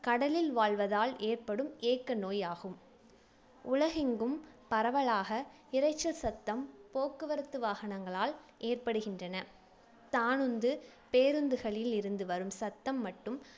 கடலில் வாழ்வதால் ஏற்படும் ஏக்க நோய் ஆகும் உலகெங்கும் பரவலாக இரைச்சல் சத்தம் போக்குவரத்து வாகனங்களால் ஏற்படுகின்றன தானுந்து பேருந்துகளில் இருந்து வரும் சத்தம் மட்டும்